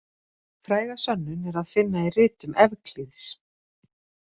Fræga sönnun er að finna í ritum Evklíðs.